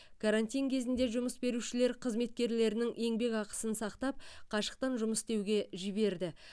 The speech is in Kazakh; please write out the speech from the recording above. карантин кезінде жұмыс берушілер қызметкерлерінің еңбекақысын сақтап қашықтан жұмыс істеуге жіберді